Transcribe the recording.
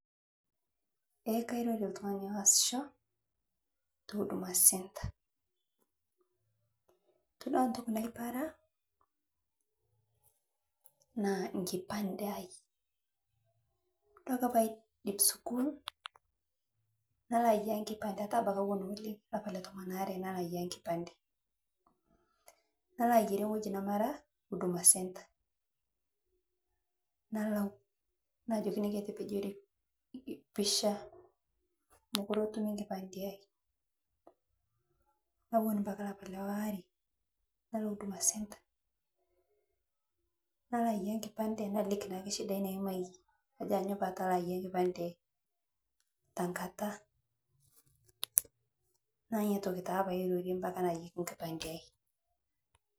Eeeh kairoro ooh tung'ani wasishoo touduma (cs center cs) ,todua ntoki naiparaa naa nkipande ahai todua ake paidep Sukul naloaya nkipande yatuu abaki awuon oleng lapaa letomon waare naloo ayiyaa nkipande naloayare ng'oji namara huduma(cs center cs), nalau najokini ketepejori(cs picture cs) mokure etumi nkipande ahai nawun mpaka lapaa leware nalo (cs huduma center cs), nalo ayiaya nkipande naliki naake shidai naimayie ajo anyoo patalo ayiaya nkipande ahai takata naa niatoki taa pairorie mbataa nayieki nkipande ahai .